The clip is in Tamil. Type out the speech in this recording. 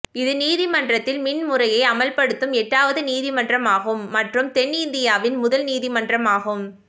இது நீதிமன்றத்தில்மின் முறையை அமல்படுத்தும் எட்டாவது நீதிமன்றம் ஆகும் மற்றும் தென் இந்தியாவின் முதல் நீதிமன்றம் ஆகும்